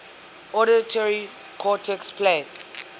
auditory cortexes play